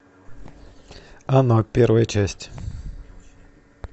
оно первая часть